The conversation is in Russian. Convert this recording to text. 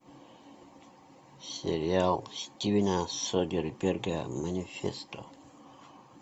сериал стивена содерберга манифесто